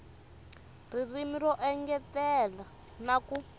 ririmi ro engetela na ku